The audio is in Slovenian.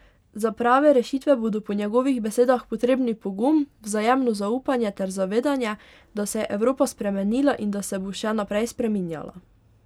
Za prave rešitve bodo po njegovih besedah potrebni pogum, vzajemno zaupanje ter zavedanje, da se je Evropa spremenila in da se bo še naprej spreminjala.